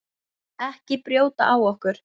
Ekki brjóta á okkur.